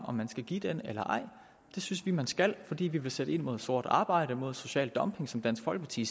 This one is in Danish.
om man skal give den eller ej det synes vi man skal fordi vi vil sætte ind mod sort arbejde mod social dumping som dansk folkeparti